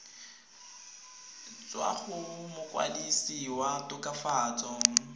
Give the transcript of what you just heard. tswa go mokwadise wa tokafatso